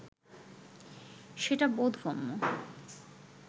সেটা বোধগম্য